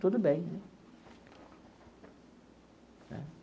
Tudo bem né.